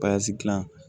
dilan